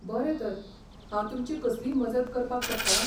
बरें तर. हांव तुमची कसलीय मजत करपाक शकतां?